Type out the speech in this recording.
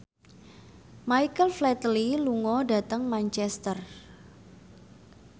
Michael Flatley lunga dhateng Manchester